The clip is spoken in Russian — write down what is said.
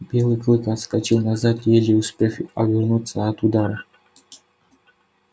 белый клык отскочил назад еле успев увернуться от удара